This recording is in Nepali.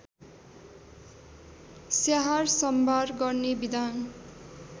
स्याहारसम्भार गर्ने विधान